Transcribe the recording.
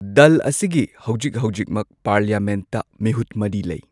ꯗꯜ ꯑꯁꯤꯒꯤ ꯍꯧꯖꯤꯛ ꯍꯧꯖꯤꯛꯃꯛ ꯄꯥꯔꯂꯤꯌꯥꯃꯦꯟꯠꯇ ꯃꯤꯍꯨꯠ ꯃꯔꯤ ꯂꯩ꯫